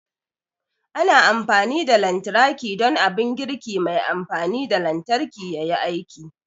Ana amfani da lantarki don abun girki mai amfani da lantarki yayi aiki